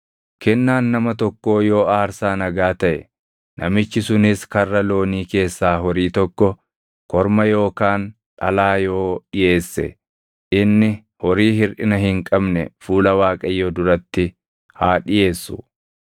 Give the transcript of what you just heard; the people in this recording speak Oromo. “ ‘Kennaan nama tokkoo yoo aarsaa nagaa taʼe, namichi sunis karra loonii keessaa horii tokko, korma yookaan dhalaa yoo dhiʼeesse, inni horii hirʼina hin qabne fuula Waaqayyoo duratti haa dhiʼeessu.